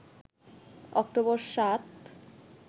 October ৭